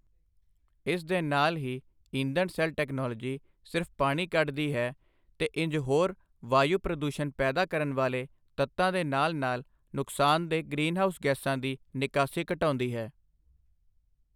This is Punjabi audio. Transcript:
ਇਸ ਦੇ ਨਾਲ ਹੀ ਈਂਧਣ ਸੈੱਲ ਟੈਕਨੋਲੋਜੀ ਸਿਰਫ਼ ਪਾਣੀ ਕੱਢਦੀ ਹੈ, ਤੇ ਇੰਝ ਹੋਰ ਵਾਯੂ ਪ੍ਰਦੂਸ਼ਣ ਪੈਦਾ ਕਰਨ ਵਾਲੇ ਤੱਤਾਂ ਦੇ ਨਾਲ ਨਾਲ ਨੁਕਸਾਨਦੇਹ ਗ੍ਰੀਨਹਾਊਸ ਗੈਸਾਂ ਦੀ ਨਿਕਾਸੀ ਘਟਾਉਂਦੀ ਹੈ।